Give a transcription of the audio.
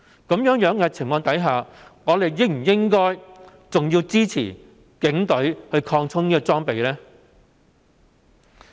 在這種情況下，我們應否支持警隊擴充裝備？